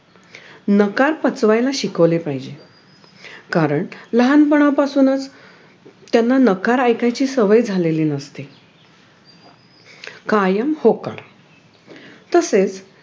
नकार पचवायला शिकवले पाहिजेत कारण लहानपणापासूनच त्यांना नकार ऐकायची सवय झालेली नसते कायम होकार तसेच